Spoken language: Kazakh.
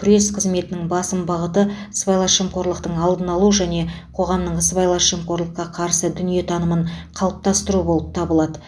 күрес қызметінің басым бағыты сыбайлас жемқорлықтың алдын алу және қоғамның сыбайлас жемқорлыққа қарсы дүниетанымын қалыптастыру болып табылады